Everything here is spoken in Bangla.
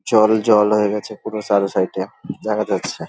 জলজল হয়ে গেছে পুরো সারা সাইড -এ দেখা যাচ্ছে।